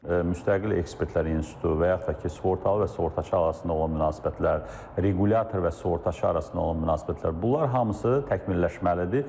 Müstəqil ekspertlər institutu və yaxud da ki, sığortalı və sığortaçı arasında olan münasibətlər, requlyator və sığortaçı arasında olan münasibətlər, bunlar hamısı təkmilləşməlidir.